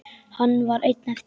Hann var einn eftir.